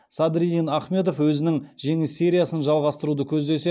садриддин ахмедов өзінің жеңіс сериясын жалғастыруды көздесе